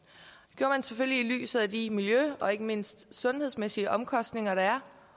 selvfølgelig i lyset af de miljø og ikke mindst sundhedsmæssige omkostninger der er